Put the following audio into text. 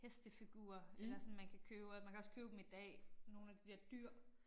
Hestefigurer eller sådan man kan købe og man kan også købe dem i dag nogle af de der dyr